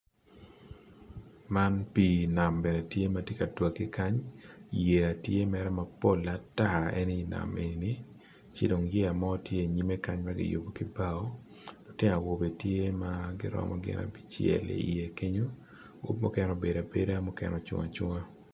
Pii nam tye ka twagge kany yeya tye mapol atar moni tye kany lutino abice tye kenyo mukene obedo abeda mukene ocung acunga